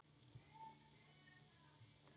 Þessi þétting býr til hita.